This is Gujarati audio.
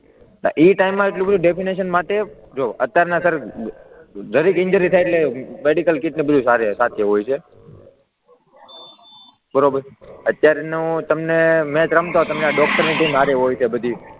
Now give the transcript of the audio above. હા એ ટાઇમમાં એટલું બધુ ડેફીનેશન માટે, જુઓ અત્યારના સર જરાક ઈન્જરી થાય એટલે મેડિકલ કીટ અને બધુ સાથે હોય છે, બરાબર અત્યારનું તમને મેચ રમતા ડોક્ટરની ટીમ સાથે હોય છે બધી,